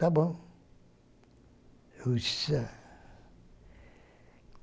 Tá bom. Eu disse